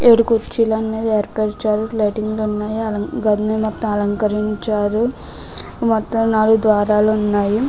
ఇక్కడ కుర్చీలు అనేవి ఏర్పరిచారు. లైటింగ్ ఉన్నాయి. గదిని మొత్తం అలంకరించారు. మొత్తం నాలుగు ద్వారాలు ఉన్నాయి.